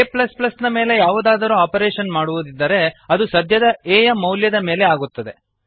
a ನ ಮೇಲೆ ಯಾವುದಾದರೂ ಆಪರೇಶನ್ ಮಾಡುವುದಿದ್ದರೆ ಅದು ಸದ್ಯದ a ಯ ಮೌಲ್ಯದ ಮೇಲೆ ಆಗುತ್ತದೆ